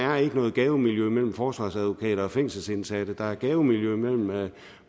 er noget gavemiljø mellem forsvarsadvokater og fængselsindsatte der er et gavemiljø mellem